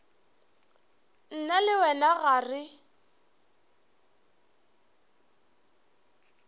nna le wena ga re